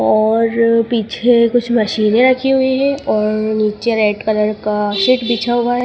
और पिछे कुछ मशीनें रखी हुई है और नीचे रेड कलर का शीट बिछा हुआ है।